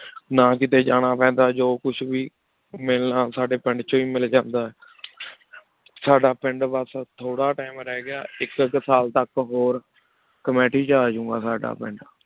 ਨਾ ਕੀਤੀ ਜਾਣਾ ਪੀਂਦਾ ਜੋ ਕੁਛ ਵੇ ਮਿਲਣਾ ਸਾਡੀ ਪਿੰਡ ਵਿਚੋ ਹੇ ਮਿਲ ਜਾਂਦਾ ਸਦਾ ਪਿੰਡ ਬਾਸ ਥੋਰਾ Time ਰਹਆਇਕ ਸਾਲ ਤਕ ਹੋਰ ਗਯਾ Commitee